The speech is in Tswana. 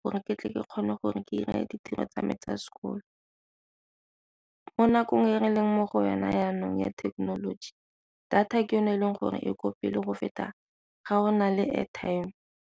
gore ke tle ke kgone gore ke 'ire ditiro tsa me tsa sekolo. Mo nakong e re leng mo go yona jaanong ya thekenoloji, data ke yone e leng gore e kwa pele go feta ga go na le airtime.